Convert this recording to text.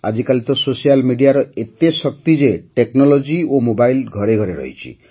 ଆଜିକାଲି ତ ସୋସିଆଲ୍ ମିଡ଼ିଆର ଏତେ ଶକ୍ତି ଯେ ଟେକ୍ନୋଲୋଜି ଓ ମୋବାଇଲ ଘରେ ଘରେ ରହିଛି